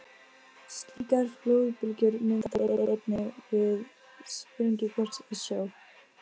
Slíkar flóðbylgjur myndast einnig við sprengigos í sjó.